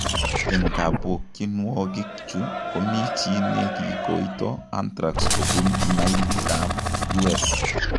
Eng' kabukyinwogikchu komii chi nekikoito anthrax kobun mailit ab U.s